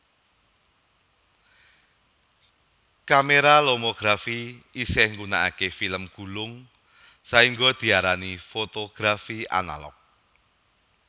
Kamera lomografi isih gunakake film gulung sahingga diarani fotografi analog